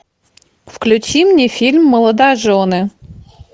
включи мне фильм молодожены